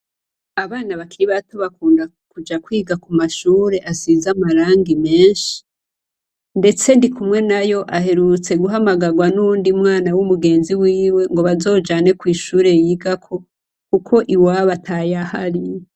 Abana bakiri bato bakunda kuja kwiga ku mashure asize amarangi menshi, ndetse Ndikumwenayo aherutse guhamagarwa n'uwundi mwana w'umugenzi wiwe ngo bazojane kw'ishure yigako kuko iwabo atayahari.